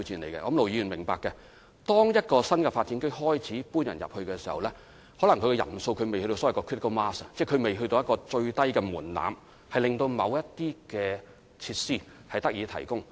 相信盧議員也明白，當市民剛開始遷入一個新發展區時，可能人數仍未達到所謂的 critical mass， 即未達到最低的門檻，令某些設施得以提供。